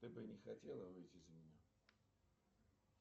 ты бы не хотела выйти за меня